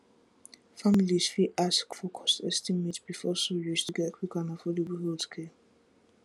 families fit ask for cost estimate before surgery to get quick and affordable healthcare